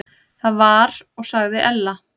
Það var og sagði Ella.